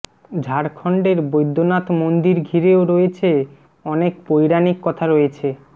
ঝাড়খন্ডের বৈদ্যনাথ মন্দির ঘিরেও রয়েছে অনেক পৌরাণিক কথা রয়েছে